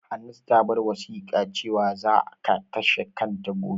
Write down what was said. Hannatu ta bar wasiƙa cewan za ka kashe kanta gobe.